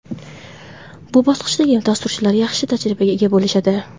Bu bosqichdagi dasturchilar yaxshi tajribaga ega bo‘lishadi.